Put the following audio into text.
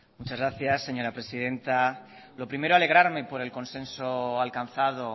muchas gracias señora presidenta lo primero alegrarme por el consenso alcanzado